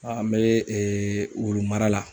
A an be wulu mara la.